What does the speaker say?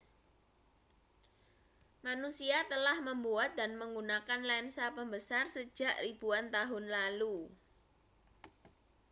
manusia telah membuat dan menggunakan lensa pembesar sejak ribuan tahun lalu